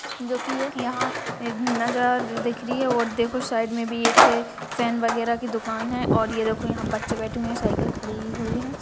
जो कि एक यहाँ एक नजर दिखरी है और देखो शाइड में भी एक फैन वगेरा की दुकान है और ये देखो यहाँ बच्चे बैठे हुए है साइकिल खरी हुई है।